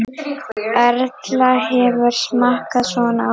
Erla: Hefurðu smakkað svona áður?